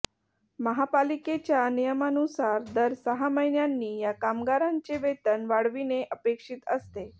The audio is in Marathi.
महापालिकेच्या नियमानुसार दर सहा महिन्यांनी या कामागारांचे वेतन वाढविणे अपेक्षित असते